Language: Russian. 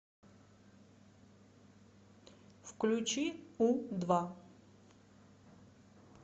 включи у два